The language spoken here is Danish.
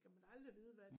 Kan man da aldrig vide hvad